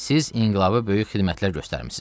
Siz inqilaba böyük xidmətlər göstərmisiniz.